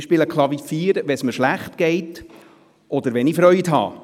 Ich spiele Klavier, wenn es mir schlecht geht, oder wenn ich Freude habe.